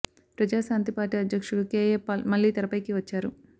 ప్రజా శాంతి పార్టీ అధ్యక్షుడు కేఏ పాల్ మళ్ళీ తెరపైకి వచ్చారు